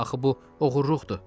Axı bu oğurluqdur.